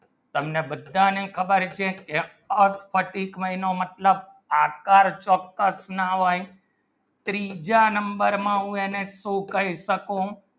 તમને બધાને ખબર છે આ ફાટિક મહિનો મતલબ આકાર ચૌઉક્તં ના હોય ત્રીજા number માં હું કહી શકું